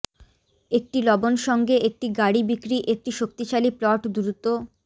একটি লবণ সঙ্গে একটি গাড়ী বিক্রি একটি শক্তিশালী প্লট দ্রুত